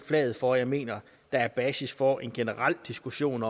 flaget for at jeg mener der er basis for en generel diskussion